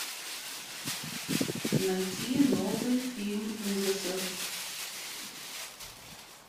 найти новый фильм ужасов